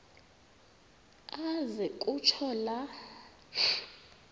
aze kutsho la